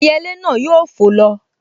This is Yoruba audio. Ẹyẹlé náà yóò fò lọ